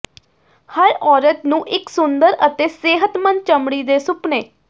ਹਰ ਔਰਤ ਨੂੰ ਇੱਕ ਸੁੰਦਰ ਅਤੇ ਸਿਹਤਮੰਦ ਚਮੜੀ ਦੇ ਸੁਪਨੇ